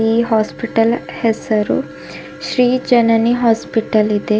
ಈ ಹಾಸ್ಪಿಟಲ್ ಹೆಸರು ಶ್ರೀ ಜನನಿ ಹಾಸ್ಪಿಟಲ್ ಇದೆ.